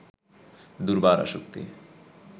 দুর্বার আসক্তি